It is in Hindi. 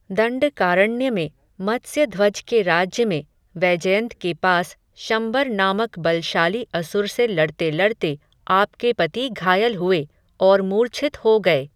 दण्डकारण्य में, मत्स्यध्वज के राज्य में, वैजयन्त के पास, शम्बर नामक बलशाली असुर से लड़ते लड़ते, आपके पति घायल हुए, और मूर्छित हो गये